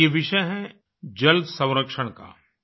ये विषय है जल संरक्षण का